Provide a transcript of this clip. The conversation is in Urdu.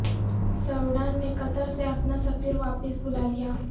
سوڈان نے قطر سے اپنا سفیر واپس بلا لیا